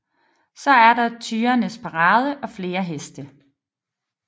Så er der tyrenes parade og flere heste